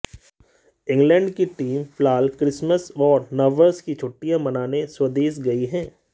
England की team फिलहाल Christmas और नववर्ष की छुट्टियां मनाने स्वदेश गई है